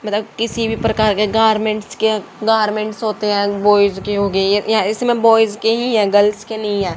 किसी भी प्रकार के गारमेंट्स के गारमेंट्स होते हैं बॉयज की हो गई या इसमें बॉयज की ही है गर्ल्स की नहीं है।